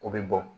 O bɛ bɔ